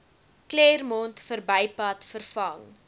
claremont verbypad vervang